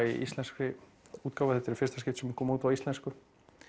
í íslenskri útgáfu þetta er í fyrsta skipti sem hún kom út á íslensku